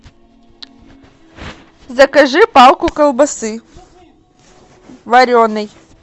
закажи палку колбасы вареной